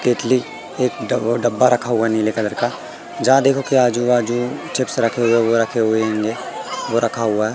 Italy ये ड-डब्बा रखा हुआ है नीले कलर का जहां देखोगे आजू-बाजू चिप्स रखे हुए ये रखे हुए हैं वो रखा हुआ --